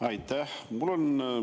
Aitäh!